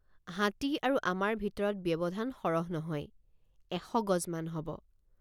হাতী আৰু আমাৰ ভিতৰত ব্যৱধান সৰহ নহয় এশ গজমান হব।